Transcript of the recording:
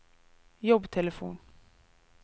jobbtelefon